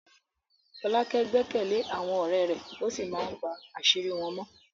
Folake gbẹ́kẹ̀lé àwọn ọ̀rẹ́ rẹ̀ ó sì máa ń pa àṣírí wọn mọ́.